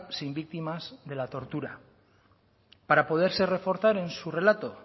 sin víctimas de la tortura para poderse reforzar en su relato